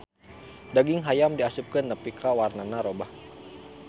Daging hayam diasupkeun nepi ka warnana robah.